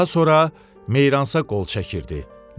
Daha sonra Meyransa qol çəkirdi.